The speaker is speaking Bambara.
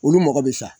Olu mɔgɔ bɛ sa